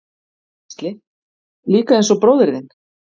Gísli: Líka eins og bróðir þinn?